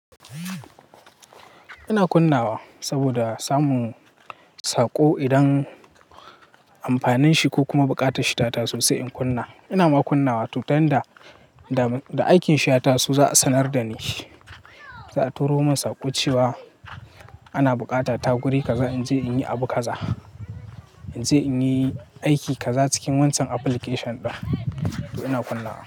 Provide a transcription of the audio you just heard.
Ina kunna wa saboda samun saƙo idan amfanin shi ko kuma buƙatar shi ta taso sai in kunna. Ina ma kunnawa to yanda da aikin shi ya taso za a sanar da ni. Za a turo min saƙo cewa ana buƙata ta guri kaza in je in yi abu kaza. In je in yi aiki kaza cikin wancan application ɗin. To ina kunna wa.